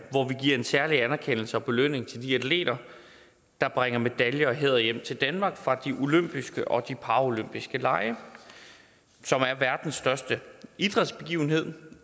vi giver en særlig anerkendelse og belønning til de atleter der bringer medaljer og hæder hjem til danmark fra de olympiske og de paralympiske lege som er verdens største idrætsbegivenhed